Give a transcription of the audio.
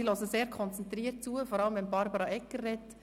Sie hören sehr konzentriert zu, vor allem wenn Barbara Egger spricht.